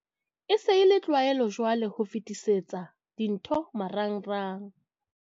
"E se e le tlwaelo jwale ho fetisetsana dintho marangrang."